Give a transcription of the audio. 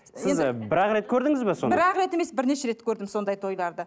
сіз бір ақ рет көрдіңіз бе бір ақ рет емес бірнеше рет көрдім сондай тойларды